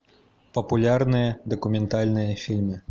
популярные документальные фильмы